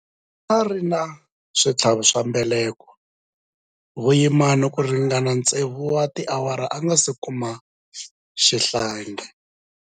A ri na switlhavi swa mbeleko vuyimani ku ringana tsevu wa tiawara a nga si kuma xihlangi.